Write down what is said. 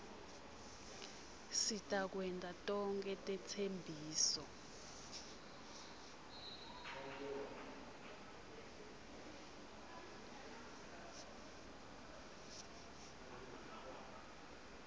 sitakwenta tonkhe tetsembiso